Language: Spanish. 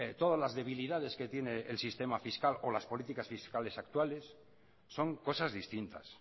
todas las debilidades que tiene el sistema fiscal o las políticas fiscales actuales son cosas distintas